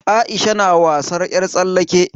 Aisha na wasan yar tsallake.